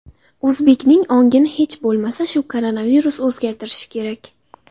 O‘zbekning ongini hech bo‘lmasa shu koronavirus o‘zgartirishi kerak.